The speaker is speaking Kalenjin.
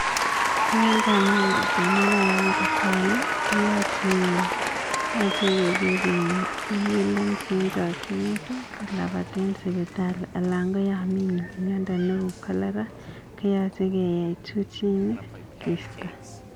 Ya kamnyan chito anan ya katanu, koyache ikur ambulance en chakchinet kolapaten sipitali, anan yamii miondo neuu cholera koyache keyai juu chini keista.